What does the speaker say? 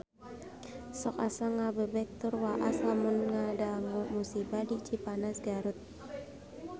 Sok asa ngagebeg tur waas lamun ngadangu musibah di Cipanas Garut